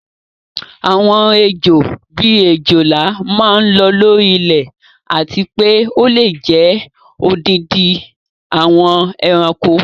Àwọn Ejò, bíi òjòlá máa ń lọ́ lórí ilẹ̀ àti pé ó lè jẹ odindi àwọn ẹranko.